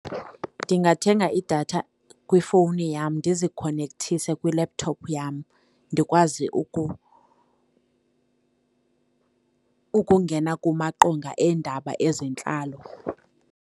Ndingathenga idatha kwifowuni yam ndizikhonekthise kwi-laptop yam ndikwazi ukungena kumaqonga eendaba ezentlalo.